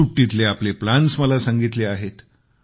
सुट्टीतले आपले प्लान्स मला सांगितले आहेत